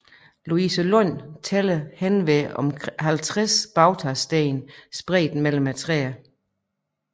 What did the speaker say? Louisenlund tæller henved 50 bautasten spredt mellem træerne